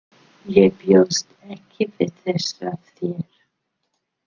Ég bjóst ekki við þessu af þér.